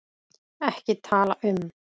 EKKI TALA UM